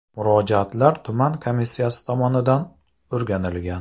Murojaatlar tuman komissiyasi tomonidan o‘rganilgan.